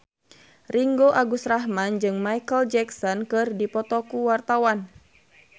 Ringgo Agus Rahman jeung Micheal Jackson keur dipoto ku wartawan